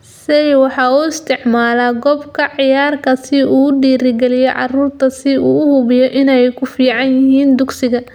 Seyi waxa uu isticmaalaa qoob ka ciyaarka si uu u dhiirigaliyo carruurta si uu u hubiyo in ay ku fiican yihiin dugsiga.